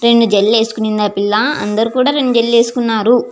ఈ రెండు జేల్లెలు వేసుకొని చిన్న పిల్ల. అందరు రెండు జేడళ్ళు వేసుకొని ఉన్నారు.